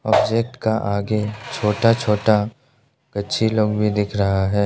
Object का आगे छोटा छोटा कच्ची लॉन भी दिख रहा है।